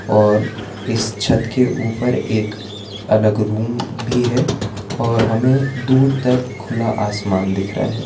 और इस छत के उपर एक अलग रूम भी है और हमे दूर तक खुला आसमान दिख रहा है।